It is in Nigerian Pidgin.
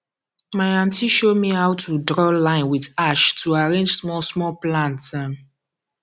my aunty show me how to draw line with ash to arrange small small plant um